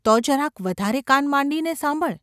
‘તો જરાક વધારે કાન માંડીને સાંભળ.